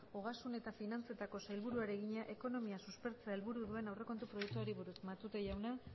ogasun eta finantzetako sailburuari egina ekonomia suspertzea helburu duen aurrekontu proiektuari buruz matute jauna